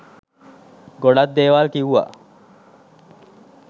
ගොඩක් දේවල් කිව්ව